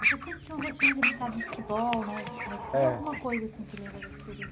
Você sempre tinha uma rotina de brincar de futebol, né, é. Mas alguma coisa que lembra desse período,